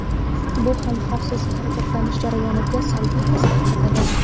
Bu ham xavfsiz harakatlanish jarayoniga salbiy ta’sir ko‘rsatadi.